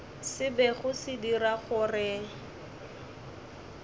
se bego se dira gore